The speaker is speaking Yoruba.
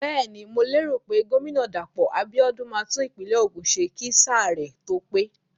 Bẹ́ẹ̀ni, mo lérò pé gómìnà Dàpọ̀ Abíọ́dún máa tún ìpínlẹ̀ Ògùn ṣe kí sáà rẹ̀ tó pé.